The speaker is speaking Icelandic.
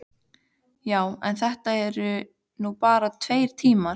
Já, en þetta eru nú bara tveir tímar.